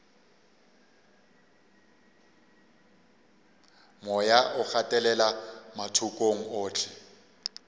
moya o gatelela mathokong ohle